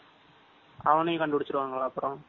அவனையும் கண்டுபுடிச்சுருவா.